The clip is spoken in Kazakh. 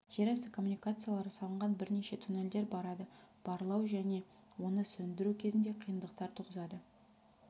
жер асты коммуникациялары салынған бірнеше туннельдер барады барлау және оны сөндіру кезінде қиындықтар туғызады